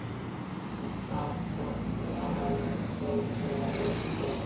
En hvaða fólk er aðallega að flytja í Hveragerði?